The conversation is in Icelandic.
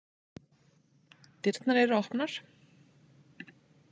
Dyrnar eru opnar